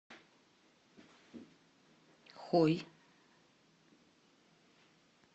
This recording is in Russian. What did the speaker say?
хой